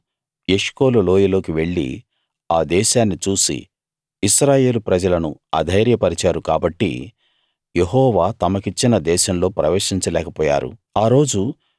వారు ఎష్కోలు లోయలోకి వెళ్లి ఆ దేశాన్ని చూసి ఇశ్రాయేలు ప్రజలను అధైర్యపరిచారు కాబట్టి యెహోవా తమకిచ్చిన దేశంలో ప్రవేశించలేకపోయారు